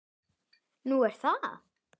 Nú, er það?